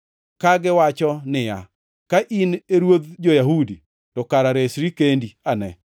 kagiwacho niya, “Ka in e ruodh jo-Yahudi, to kara resri kendi ane.”